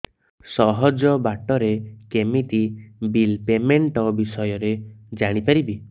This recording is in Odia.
ସହଜ ବାଟ ରେ କେମିତି ବିଲ୍ ପେମେଣ୍ଟ ବିଷୟ ରେ ଜାଣି ପାରିବି